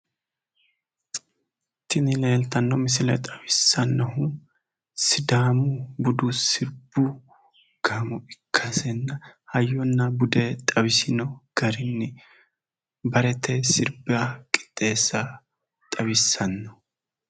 tinni leelitano misileele xawisaanohu sidaamu buddu sirrbu gaamoo ikasi hayyonnabude xawisano garrini bareete sibba qixeesa xawisano